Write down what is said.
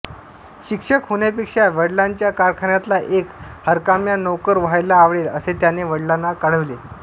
शिक्षक होण्यापेक्षा वडिलांच्या कारखान्यातला एक हरकाम्या नोकर व्हायला आवडेल असे त्याने वडिलांना कळविले